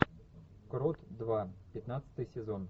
крот два пятнадцатый сезон